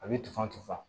A bɛ tufan tufa